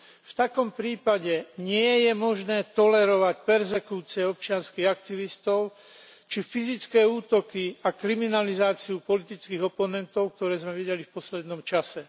V takom prípade nie je možné tolerovať perzekúcie občianskych aktivistov, či fyzické útoky a kriminalizáciu politických oponentov, ktoré sme videli v poslednom čase.